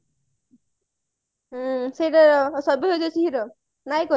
ସେ କଣ Chandini i miss you ର ନାୟିକା ସିଏ